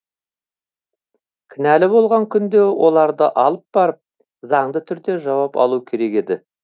кінәлі болған күнде оларды алып барып заңды түрде жауап алуы керек еді